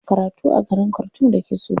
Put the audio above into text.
Tana karatu a garin khartoum da ke Sudan.